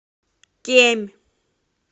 кемь